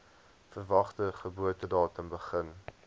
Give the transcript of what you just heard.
verwagte geboortedatum begin